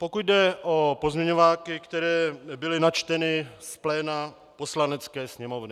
Pokud jde o pozměňováky, které byly načteny z pléna Poslanecké sněmovny.